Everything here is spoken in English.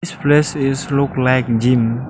this place is look like gym.